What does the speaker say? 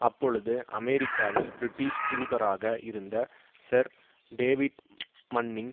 அப்பொழுது அமெரிக்காவில் பிரிட்டிஷ் தூதராக இருந்த சர் டேவிட் மன்னிங்